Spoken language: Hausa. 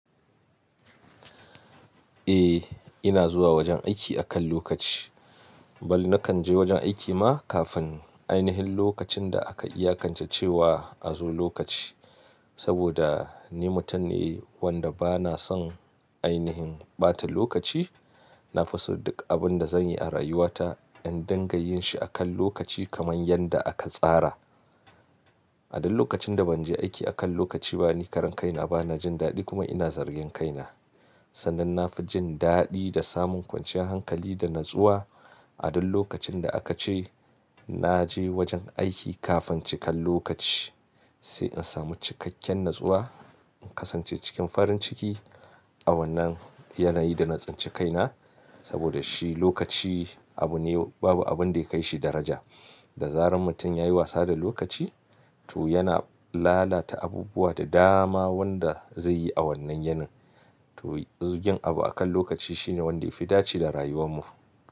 Eh, ina zuwa wajen aiki akan lokaci. Bali nakan je wajen aiki ma kafin ainihin lokacin da aka iyakance cewa a zo lokaci. Saboda ni mutum ne wanda bana son ainihin ɓata lokaci. Na fi so duk abin da zanyi a rayuwata in dangayyin shi akan lokaci kamar yadda aka tsara. A dok lokacin da ban je aiki akan lokaci ba ni karan kaina bana jin daɗi kuma ina zargan kaina. Sannan na fi jin daɗi da samun kwanciyar hankali da natsuwa a duk lokacin da aka ce naje wajen aiki kafin cikan lokaci. Sai in samu cikakken natsuwa, in kasance cikin farin ciki. A wannan yanayi da na tsince kaina saboda shi lokaci abu ne babu abun da ya kai shi daraja. Da zaran mutum yayi wasa da lokaci to yana lalata abubuwa da dama wanda zai yi a wannan yanin. To zugin abu akan lokaci shine wanda yafi dace da rayuwar mu.